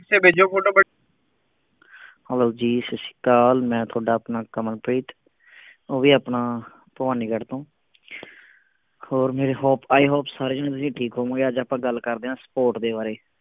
Hello ਜੀ ਸੱਤ ਸ਼੍ਰੀ ਅਕਾਲ ਮੈਂ ਤੁਹਾਡਾ ਆਪਣਾ ਕਮਲਪ੍ਰੀਤ ਉਹ ਵੀ ਆਪਣਾ ਭਵਾਨੀਗੜ ਤੋਂ ਹੋਰ ਮੇਰੀ hope, I hope ਸਾਰੇ ਜਣੇ ਤੁਸੀਂ ਠੀਕ ਹੋਵੋਂਗੇ ਅੱਜ ਆਪਾਂ ਗੱਲ ਕਰਦੇ ਆਂ support ਦੇ ਬਾਰੇ